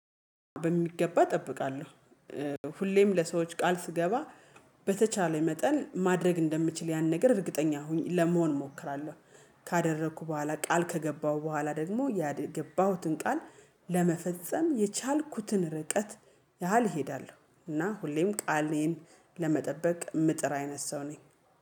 በሚገባ እጠብቃለሁ ሁሌም ለሰዎች ቃል ስገባ በተቻለ መጠን ማድረግ እንደምችል ያን ነገር እርግጠኛ ሁኚ ለመሆን እሞክራለሁ። ካደረኩ በኋላ ቃል ከገባሁ በኋላ ደግሞ ያን የገባሁትን ቃል ለመፈጸም የቻልኩትን ርቀት ያህል እሄዳለሁ እና ሁሌም ቃሌን ለመጠበቅ የምጥር አይነት ሰው ነኝ